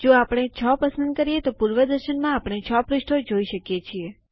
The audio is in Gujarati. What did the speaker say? જો આપણે 6 પસંદ કરીએ તો પૂર્વદર્શનમાં આપણે 6 પૃષ્ઠો જોઈ શકીએ છીએ